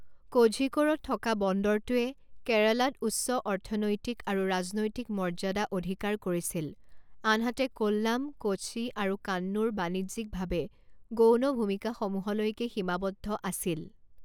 কোঝিকোড়ত থকা বন্দৰটোৱে কেৰালাত উচ্চ অৰ্থনৈতিক আৰু ৰাজনৈতিক মৰ্য্যাদা অধিকাৰ কৰিছিল, আনহাতে কোল্লাম, কোচি আৰু কান্নুৰ বাণিজ্যিকভাৱে গৌণ ভূমিকাসমূহলৈকে সীমাবদ্ধ আছিল।